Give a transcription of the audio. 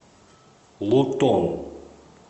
лутон